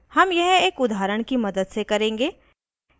* हम यह एक उदाहरण की मदद से करेंगे